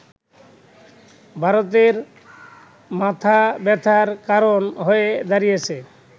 ভারতের মাথাব্যথার কারণ হয়ে দাঁড়িয়েছে